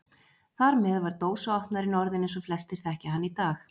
Þar með var dósaopnarinn orðinn eins og flestir þekkja hann í dag.